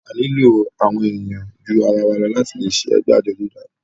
a nílò àwọn èèyàn ju àwarawa lọ láti le ṣe ẹgbẹ́ àjọ dídá